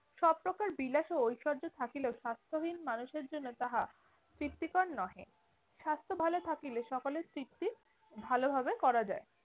সব প্রকার বিলাস ও ঐশর্য থাকিলেও স্বাস্থ্যহীন মানুষের জন্য তাহা তৃপ্তিকর নহে। স্বাস্থ্য ভালো থাকিলে সকলের তৃপ্তি ভালোভাবে করা যায়।